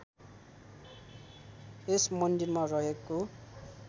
यस मन्दिरमा रहेको